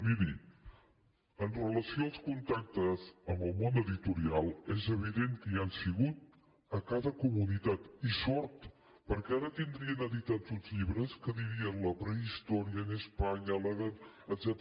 miri amb relació als contactes amb el món editorial és evident que hi han sigut a cada comunitat i sort perquè ara tindrien editats uns llibres que dirien la prehistoria en españa la edad